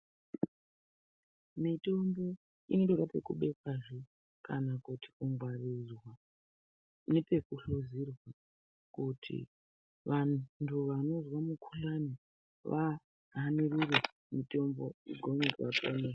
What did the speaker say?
Mitombo inoda kubekwazve kana kungwarirwa nepekuhluzira kuti vantu anonzwa mukahlani vahanire mitombo gone kuvadetsera.